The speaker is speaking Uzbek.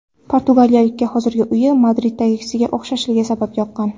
Portugaliyalikka hozirgi uyi Madriddagisiga o‘xshashligi sabab yoqqan.